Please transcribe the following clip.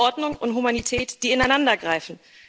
Ordnung und Humanität, die ineinandergreifen.